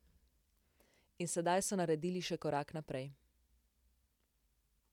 In sedaj so naredili še korak naprej.